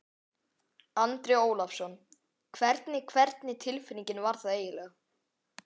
Andri Ólafsson: Hvernig, hvernig tilfinning var það eiginlega?